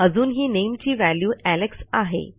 अजूनही nameची value Alex आहे